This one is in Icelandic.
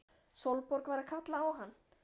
Sólborg var að kalla á hann!